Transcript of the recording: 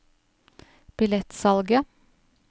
billettsalget